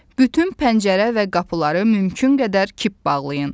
Bütün pəncərə və qapıları mümkün qədər kip bağlayın.